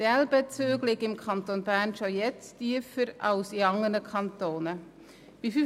Die EL-Bezüge liegen im Kanton Bern bereits heute tiefer als in anderen Kantonen.